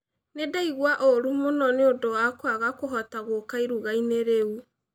Nĩ ndaigua ũũru mũno nĩ ũndũ wa kwaga kũhota gũũka iruga-inĩ rĩu